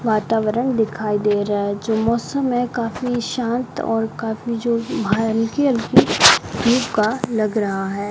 वातावरण दिखाई दे रहा है जो मौसम है काफी शांत और काफी जो हल्की हल्की धूप का लग रहा हैं।